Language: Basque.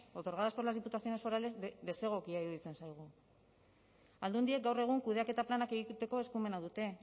otorgadas por las diputaciones forales desegokia iruditzen zaigu aldundiek gaur egun kudeaketa planak egiteko eskumena dute